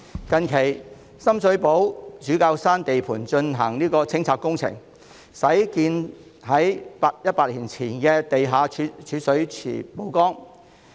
近期，深水埗主教山地盤進行清拆工程，具100年歷史的地下蓄水池因而曝光。